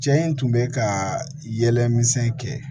Cɛ in tun bɛ ka yɛlɛmisɛn kɛ